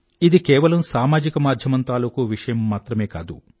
ఇది కేవలం సామాజిక మాధ్యమం తాలూకూ విషయం మాత్రమే కాదు